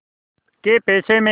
कै पैसे में